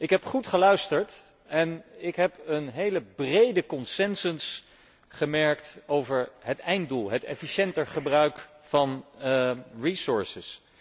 Ik heb goed geluisterd en ik heb een hele brede consensus gemerkt over het einddoel het efficiënter gebruik van hulpbronnen.